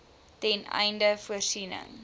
ten einde voorsiening